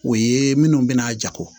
O ye minnu bɛna jago